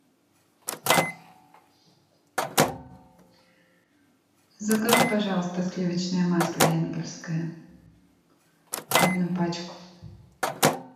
закажи пожалуйста сливочное масло энгельское одну пачку